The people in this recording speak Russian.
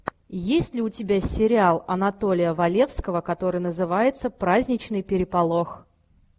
есть ли у тебя сериал анатолия валевского который называется праздничный переполох